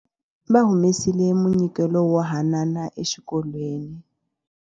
Va humesile munyikelo wo hanana exikolweni.